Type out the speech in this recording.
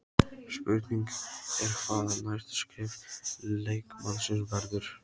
Spurning er hvað næsta skref leikmannsins verður?